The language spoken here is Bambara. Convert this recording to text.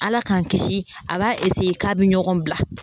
ALA k'an kisi a b'a k'a bɛ ɲɔgɔn bila.